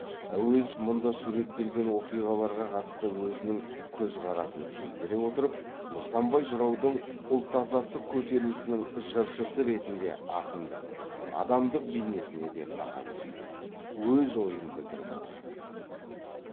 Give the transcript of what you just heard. әуезов мұнда суреттелген оқиғаларға қатысты өзінің көз қарасын сездіре отырып нысанбай жыраудың ұлт азаттық көтерілісінің жыршысы ретінде акындық адамдық бейнесіне де баға береді өз ойын білдіріп отырады